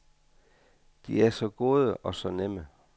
De er så gode og så nemme.